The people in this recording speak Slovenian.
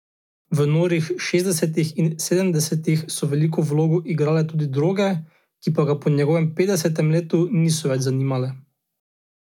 V norih šestdesetih in sedemdesetih so veliko vlogo igrale tudi droge, ki pa ga po njegovem petdesetem letu niso več zanimale.